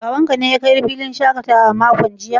Babanka ne ya kai ka filin shakatawa a makon jiya?